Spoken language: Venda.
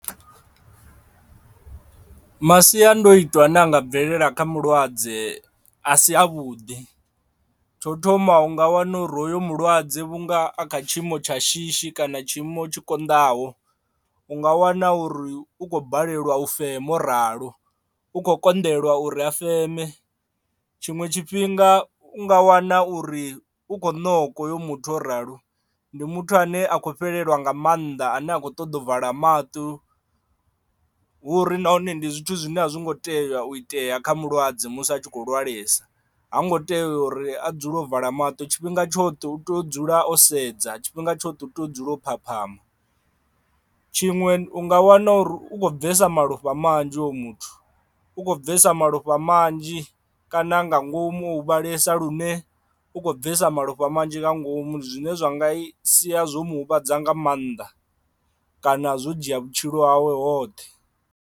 Masiandoitwa ane anga bvelela kha mulwadze a si a vhuḓi tsho thoma u nga wana uri hoyo mulwadze vhunga a kha tshiimo tsha shishi kana tshiimo tshi kondaho u nga wana uri u khou balelwa u fema o ralo u khou konḓelwa uri a feme. Tshiṅwe tshifhinga u nga wana uri u kho noka hoyo muthu o ralo ndi muthu ane a khou fhelelwa nga maanḓa ane a kho ṱoḓa u vala maṱuku hu uri nahone ndi zwithu zwine a zwo ngo tea u itea kha mulwadze musi a tshi kho lwalesa ha ngo tea uri a dzule o vala maṱo tshifhinga tsho tu to dzula o sedza tshifhinga tsha u tea u dzula u phaphama. Tshiṅwe u nga wana uri u khou bvesa malofha manzhi hoyo muthu u khou bvesa malofha manzhi kana nga ngomu o huvhalesa lune u khou bvesa malofha manzhi nga ngomu ndi zwine zwa nga sia zwo muhuvhadza nga maanḓa kana zwo dzhia vhutshilo hawe hoṱhe.